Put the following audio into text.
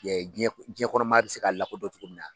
jiyɛn jiyɛn kɔnɔ maa bɛ se k'a lakodɔn cogo min na.